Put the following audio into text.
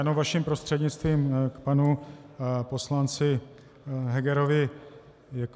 Jenom vaším prostřednictvím k panu poslanci Hegerovi.